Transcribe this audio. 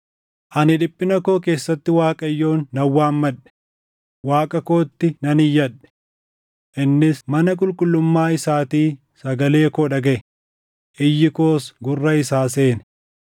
“Ani dhiphina koo keessatti Waaqayyoon nan waammadhe; Waaqa kootti nan iyyadhe. Innis mana qulqullummaa isaatii sagalee koo dhagaʼe; iyyi koos gurra isaa seene.